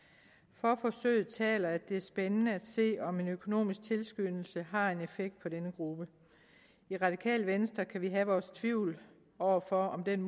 for forsøget taler at det er spændende at se om en økonomisk tilskyndelse har en effekt på denne gruppe i radikale venstre kan vi have vores tvivl over for om den